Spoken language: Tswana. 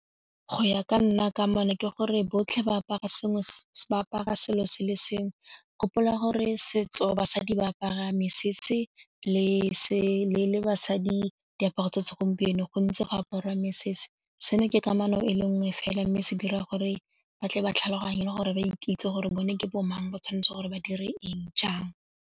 Go ya ka nna ka ke gore botlhe ba apara selo se le sengwe gopola gore setso basadi ba apara mesese le se le basadi diaparo tsa segompieno gontsi go apara mesese seno ke kamano e le nngwe fela mme se dira gore ba tle ba tlhaloganye gore ba ikitse gore bone ke bo mang ba tshwanetse gore ba dire eng jang.